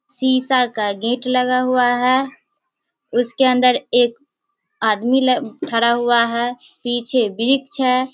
शीशा का गेट लगा हुआ है उसके अंदर एक आदमी खड़ा हुवा है उसके पीछे हैं |